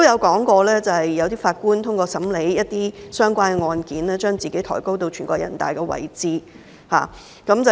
他表示有些法官透過審理一些相關案件，把自己抬高至全國人民代表大會的位置。